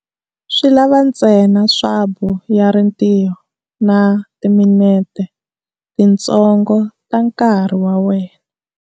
Swi lava ntsena swabu ya ritiyi na timinete tintsongo ta nkarhi wa wena.